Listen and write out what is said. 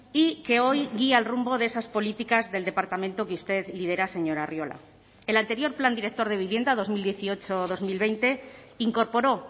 y que hoy guía el rumbo de esas políticas del departamento que usted lidera señor arriola el anterior plan director de vivienda dos mil dieciocho dos mil veinte incorporó